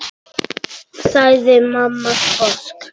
Jú, þetta er mikið mál.